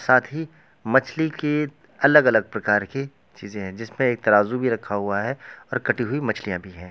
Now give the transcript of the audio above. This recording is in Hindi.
साथ ही मछली के अलग अलग प्रकार की चीजै हैं जिसमें एक तराजू भी रखा हुआ है और कटी हुई मछलियां भी है।